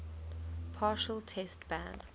partial test ban